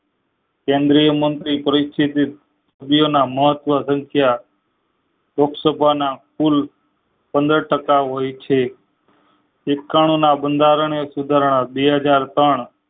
કેન્દ્રીય મંત્રી પરિસ્થિતિ ની મહત્વ સંખ્યા લોકસભાના કુલ પંદર ટાકા હોય છે એકાણુ ના બંધારણીય સુધારણા બે હાજર ચાર